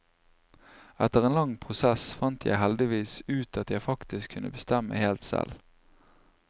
Etter en lang prosess fant jeg heldigvis ut at jeg faktisk kunne bestemme helt selv.